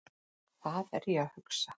Hvað er ég að hugsa?